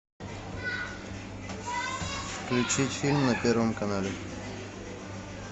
включить фильм на первом канале